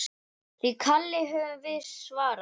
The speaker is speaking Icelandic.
Því kalli höfum við svarað.